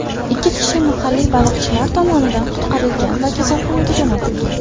Ikki kishi mahalliy baliqchilar tomonidan qutqarilgan va kasalxonaga jo‘natilgan.